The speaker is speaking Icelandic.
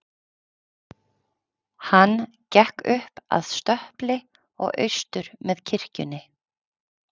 Hann gekk upp að stöpli og austur með kirkjunni.